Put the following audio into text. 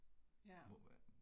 Ja